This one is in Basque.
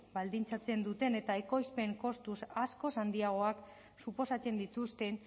baldintzatzen duten eta ekoizpen kostu askoz handiagoak suposatzen dituzten